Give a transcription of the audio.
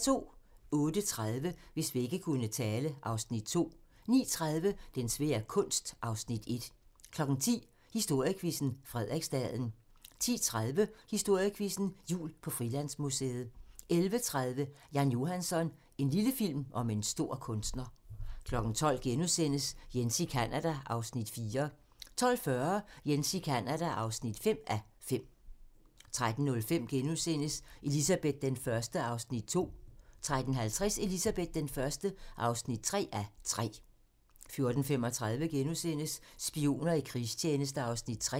08:30: Hvis vægge kunne tale (Afs. 2) 09:30: Den svære kunst (Afs. 1) 10:00: Historiequizzen: Frederiksstaden 10:30: Historiequizzen: Jul på Frilandsmuseet 11:30: Jan Johansson - en lille film om en stor kunstner 12:00: Jens i Canada (4:5)* 12:40: Jens i Canada (5:5) 13:05: Elizabeth I (2:3)* 13:50: Elizabeth I (3:3) 14:35: Spioner i krigstjeneste (Afs. 3)*